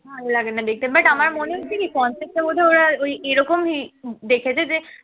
ভালো লাগে না দেখতে but আমার মনে হচ্ছে কি concept টা বোধহয় ওরা ওই এরকম দেখেছে যে